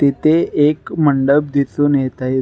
तेथे एक मंडप दिसुन येत आहेत.